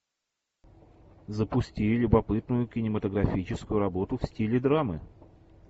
запусти любопытную кинематографическую работу в стиле драмы